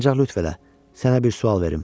Ancaq lütf elə, sənə bir sual verim.